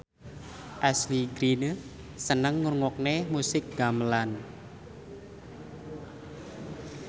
Ashley Greene seneng ngrungokne musik gamelan